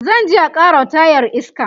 zanje a karawa tayar iska